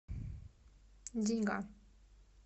деньга